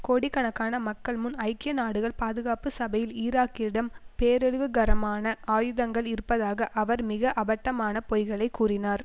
கோடிக்கணக்கான மக்கள் முன் ஐக்கிய நாடுகள் பாதுகாப்பு சபையில் ஈராக்கிடம் பேரழிவுகரமான ஆயுதங்கள் இருப்பதாக அவர் மிக அபட்டமான பொய்களை கூறினார்